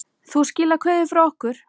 Þú skilar kveðju frá okkur.